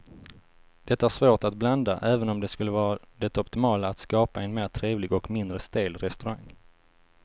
Det är svårt att blanda även om det skulle vara det optimala att skapa en mer trevlig och mindre stel restaurang.